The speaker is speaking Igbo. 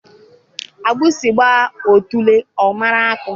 Agbụsị gbaa otule, ọ mụrụ akọ